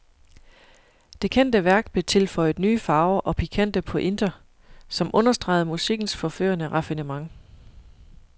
Det kendte værk blev tilføjet nye farver og pikante pointer, som understregede musikkens forførende raffinement.